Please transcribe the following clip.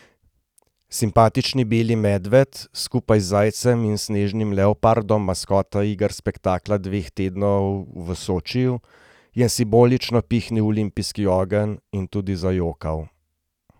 Simpatični beli medved, skupaj z zajcem in snežnim leopardom maskota iger spektakla dveh tednov v Sočiju, je simbolično pihnil v olimpijski ogenj in tudi zajokal.